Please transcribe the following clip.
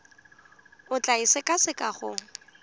o tla e sekaseka go